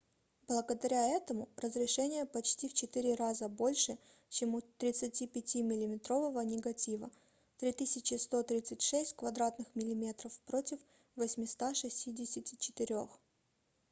благодаря этому разрешение почти в четыре раза больше чем у 35-миллиметрового негатива 3136 кв. мм против 864